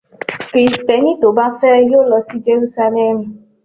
Kristẹni tó bá fẹ́ yóò lọ sí Jerúsálẹ́mù.